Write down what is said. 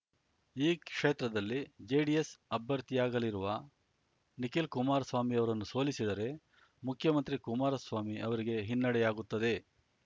ಈ ಕ್ಷೇತ್ರದಲ್ಲಿ ಜೆಡಿಎಸ್‌ ಅಭ್ಯರ್ಥಿಯಾಗಲಿರುವ ನಿಖಿಲ್ ಕುಮಾರಸ್ವಾಮಿರವರನ್ನು ಸೋಲಿಸಿದರೆ ಮುಖ್ಯಮಂತ್ರಿ ಕುಮಾರಸ್ವಾಮಿ ಅವರಿಗೆ ಹಿನ್ನಡೆಯಾಗುತ್ತದೆ